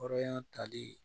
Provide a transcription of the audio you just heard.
Hɔrɔnya tali